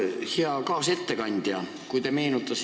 Hea kaasettekandja!